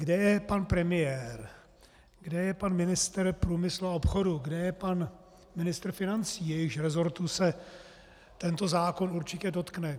Kde je pan premiér, kde je pan ministr průmyslu a obchodu, kde je pan ministr financí, jejichž resortů se tento zákon určitě dotkne?